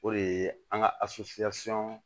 O de ye an ka